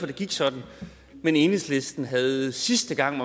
det gik sådan men enhedslisten havde sidste gang